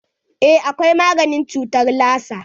Eh akwai maganin cutar lasa.